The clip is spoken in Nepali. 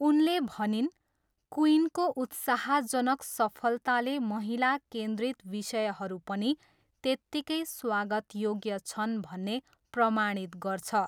उनले भनिन्, क्विइनको उत्साहजनक सफलताले महिला केन्द्रित विषयहरू पनि त्यत्तिकै स्वागतयोग्य छन् भन्ने प्रमाणित गर्छ।